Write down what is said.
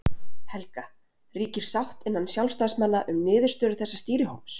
Helga: Ríkir sátt innan sjálfstæðismanna um niðurstöðu þessa stýrihóps?